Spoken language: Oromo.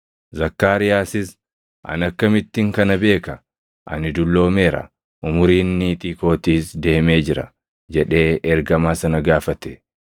Zakkaariyaasis, “Ani akkamittin kana beeka? Ani dulloomeera; umuriin niitii kootiis deemee jira” jedhee ergamaa sana gaafate.